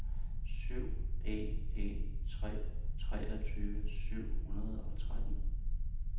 syv en en tre treogtyve syv hundrede og tretten